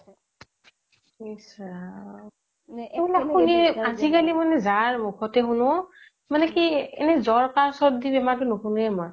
ইচ ৰাম আজিকালি মানে যাৰ মোখতে শুনো মানে কি এনে জ্বৰ কাহ চৰ্দি বেমাৰবোৰ নোশুনায়ে মই